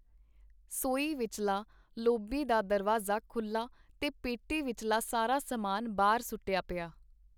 ਸੋਈ ਵਿਚੱਲਾ ਲੌਬੀ ਦਾ ਦਰਵਾਜ਼ਾ ਖੁੱਲਾ ਤੇ ਪੇਟੀ ਵਿਚੱਲਾ ਸਾਰਾ ਸਮਾਨ ਬਾਹਰ ਸੁੱਟਿਆ ਪਿਆ .